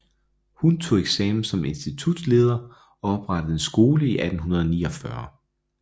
Hun tog eksamen som institutsleder og oprettede en skole i 1849